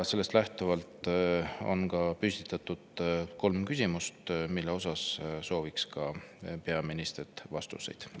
Sellest lähtuvalt on esitatud kolm küsimust, millele sooviks peaministrilt vastust.